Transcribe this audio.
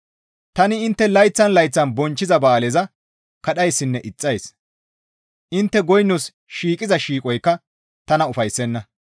«Tani intte layththan layththan bonchchiza ba7aaleza kadhayssinne ixxays; intte goynos shiiqiza shiiqoykka tana ufayssenna.